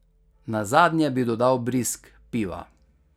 Nazadnje bi dodal brizg piva.